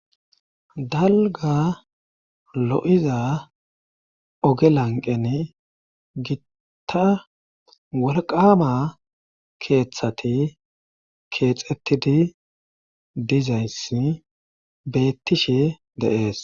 dalga lo7iza oge lanqen gitta wolqama keeththati keexettidi dizaynssi beettishe deees